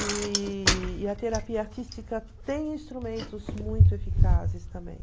E e a terapia artística tem instrumentos muito eficazes também.